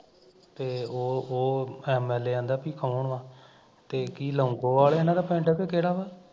ਤੇ ਉਹ ਉਹ MLA ਕਹਿੰਦਾ ਵੀ ਕੋਣ ਆ ਤੇ ਕੀ ਲੋਂਗੋਵਾਲ ਇਹਨਾਂ ਦਾ ਪਿੰਡ ਕਿ ਕਿਹੜਾ ਵਾ